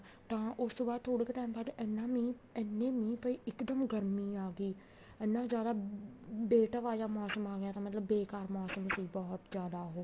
ਤਾਂ ਉਸ ਤੋਂ ਬਾਅਦ ਥੋੜੇ ਕੁ time ਬਾਅਦ ਇੰਨੇ ਮੀਂਹ ਪਏ ਇੱਕ ਦਮ ਗਰਮੀ ਆ ਗਈ ਇੰਨਾ ਜਿਆਦਾ ਬੇਟਵਾ ਜਾ ਮੋਸਮ ਆ ਗਿਆ ਮਤਲਬ ਬੇਕਾਰ ਮੋਸਮ ਸੀ ਬਹੁਤ ਜਿਆਦਾ ਉਹ